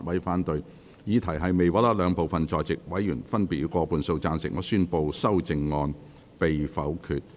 由於議題未獲得兩部分在席委員分別以過半數贊成，他於是宣布修正案被否決。